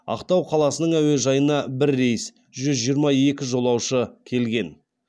ақтау қаласының әуежайына бір рейс жүз жиырма екі жолаушы келген